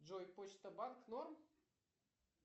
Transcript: джой почта банк норм